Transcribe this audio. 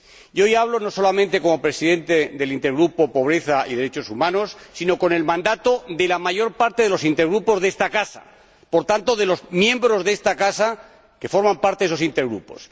Y hoy hablo, no solamente como Presidente del Intergrupo Pobreza y derechos humanos, sino con el mandato de la mayor parte de los intergrupos de esta Casa, por tanto, de los miembros de esta Casa que forman parte de esos intergrupos.